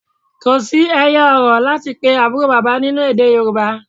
Kò ẹyọ-ọ̀rọ̀ láti pe àbúrò bàbá nínú èdè Yorùbá.